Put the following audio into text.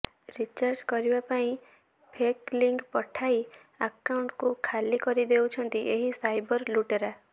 recharge କରିବା ପାଇଁ fake link ପଠାଇ ଆଖାଉଣ୍ଟକୁ ଖାଲି କରିଦେଉଛନ୍ତି ଏହି ସାଇବର ଲୁଟେରା